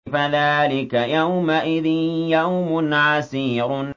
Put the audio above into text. فَذَٰلِكَ يَوْمَئِذٍ يَوْمٌ عَسِيرٌ